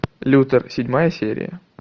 лютер седьмая серия